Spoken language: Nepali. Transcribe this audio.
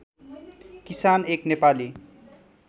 किसान एक नेपाली